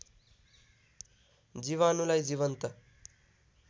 जीवाणुलाई जीवन्त